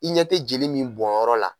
I ɲɛ tɛ jeli min bɔnyɔrɔ la.